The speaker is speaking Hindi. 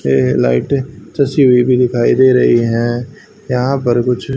ये लाइटें तस्वीर भी दिखाई दे रही हैं यहां पर कुछ।